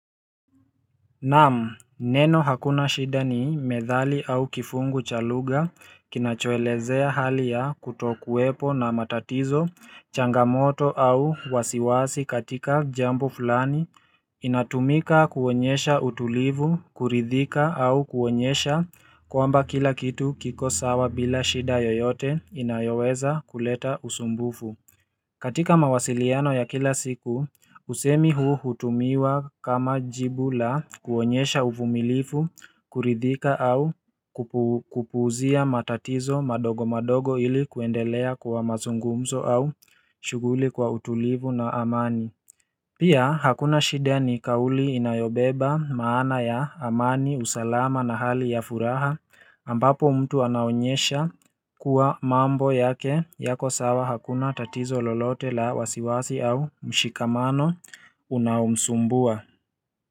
Naam neno hakuna shida ni methali au kifungu cha lugha kinachoelezea hali ya kutokuwepo na matatizo changamoto au wasiwasi katika jambo fulani inatumika kuonyesha utulivu kuridhika au kuonyesha kwamba kila kitu kiko sawa bila shida yoyote inayoweza kuleta usumbufu katika mawasiliano ya kila siku, usemi huu hutumiwa kama jibu la kuonyesha uvumilivu, kuridhika au kupuuzia matatizo madogo madogo ili kuendelea kwa mazungumzo au shughuli kwa utulivu na amani. Pia hakuna shida ni kauli inayobeba maana ya amani, usalama na hali ya furaha ambapo mtu anaonyesha kuwa mambo yake yako sawa hakuna tatizo lolote la wasiwasi au mshikamano unaomsumbua.